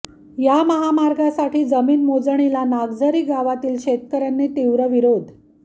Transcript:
या महामार्गासाठी जमीन मोजणीला नागझरी गावातील शेतकऱ्यांनी तीव्र विरोध